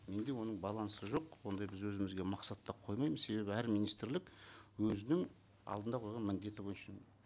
менде оның балансы жоқ ондай біз өзімізге мақсаттап қоймаймыз себебі әр министрлік өзінің алдында қойған міндеті бойынша